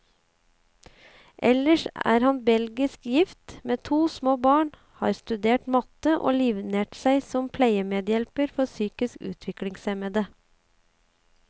Ellers er han belgisk gift, med to små barn, har studert matte, og livnært seg som pleiemedhjelper for psykisk utviklingshemmede.